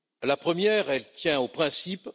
La première, elle tient aux principes